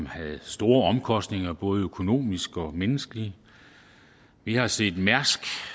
havde store omkostninger både økonomisk og menneskeligt vi har set mærsk